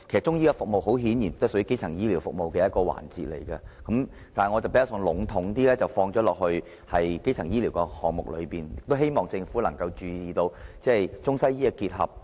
中醫服務很顯然也屬於基層醫療服務的一個環節，但我比較籠統地放在基層醫療的項目中，亦希望政府能夠注意到中西醫的結合。